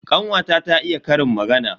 Kanwata ta iya ƙarin magana.